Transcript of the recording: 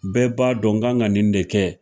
Bɛɛ b'a dɔn n kan ka nin de kɛ.